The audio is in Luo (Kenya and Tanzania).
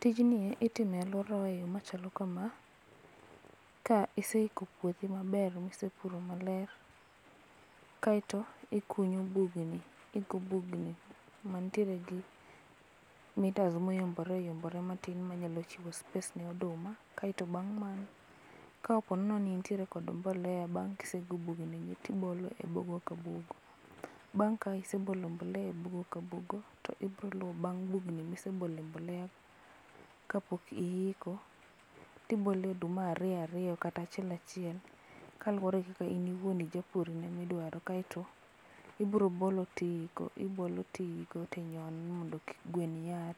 Tijni itimo e aluora wa e yoo machalo kama, ka iseiko puothi maber ma isepuro maler, kaito ikunyo bugni, iiko bugni mantiere gi mitas ma oyombre oyombre matin manyalo chiwo space ne oduma, kaito bang' mano ka oponi ne intie kod mbolea bang' ka ise bugo gubni tibolo e bugo ka bugo. Bang' ka isebolo mbolea e bugo ka bugo to ibro luwo bang' bugni mosebole mbolea kapok iiko tibole oduma ariyo ariyo kata achiel achiel kaluore gi in iwuon ijapur idwaro kaito ibiro bolo tiiko, ibolo tiiko tinyono mondo ki gwen yar.